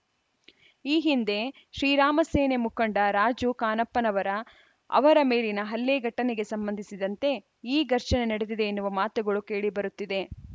ಈ ಹಿಂದೆ ಶ್ರೀರಾಮಸೇನೆ ಮುಖಂಡ ರಾಜು ಖಾನಪ್ಪನವರ ಅವರ ಮೇಲಿನ ಹಲ್ಲೆ ಘಟನೆಗೆ ಸಂಬಂಧಿಸಿದಂತೆ ಈ ಘರ್ಷಣೆ ನಡೆದಿದೆ ಎನ್ನುವ ಮಾತುಗಳು ಕೇಳಿಬರುತ್ತಿದೆ